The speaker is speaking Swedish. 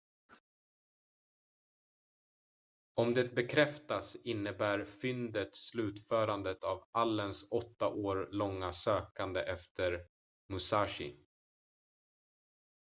om det bekräftas innebär fyndet slutförandet av allens åtta år långa sökande efter musashi